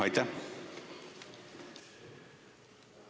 Aitäh!